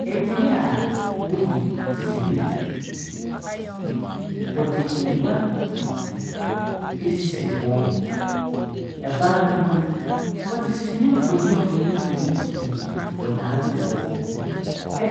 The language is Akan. Beaa woyi sini. Wɔdze ngua esisi hɔ. Ɛban no ho no, wɔdze sini mfoyin mfonyin mfoyin pii wɔdze abobɔ hɔ .